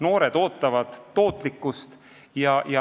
Noored ootavad tootlikkust.